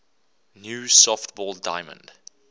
new softball diamond